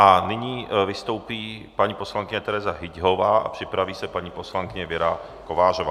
A nyní vystoupí paní poslankyně Tereza Hyťhová a připraví se paní poslankyně Věra Kovářová.